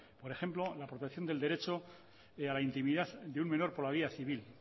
por ejemplo la protección del derecho a la intimidad de un menor por la vía civil